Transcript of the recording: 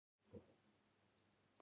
Kveikti eld í Tjarnarhólmanum